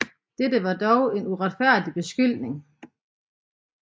Dette var dog en uretfærdig beskyldning